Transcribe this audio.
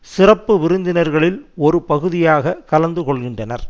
சிறப்பு விருந்தினர்களில் ஒரு பகுதியாக கலந்து கொள்கின்றனர்